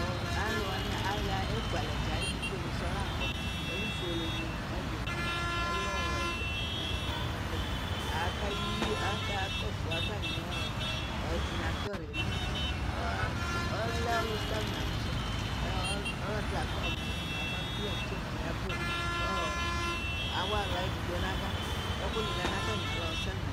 Aluwani aya ekualɛdza alɛ etufueni sɔɔ layɛ Ɛlu fuele nayadini nɛlu wɛ akakɔsu atami ɔdinatɔeri Ɔlɛ ɔlusialʊ Ɔlɔdi lafa mɔzatie muamadukulu nu tiye kemu nifɔ nava sʊ Ɛku ni lɛ natamialɔ